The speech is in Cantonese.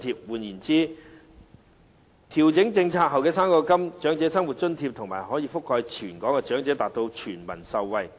換言之，調整政策後的高齡津貼、長生津及高額長生津可以覆蓋全港長者，達致全民受惠。